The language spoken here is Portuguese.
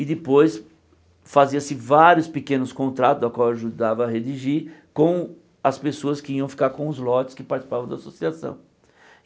E depois fazia-se vários pequenos contratos, ao qual ajudava a redigir, com as pessoas que iam ficar com os lotes que participavam da associação.